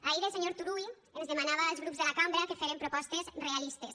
ahir el senyor turull ens demanava als grups de la cambra que férem propostes rea listes